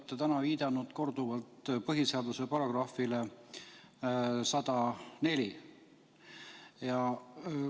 Te olete täna viidanud korduvalt põhiseaduse §-le 104.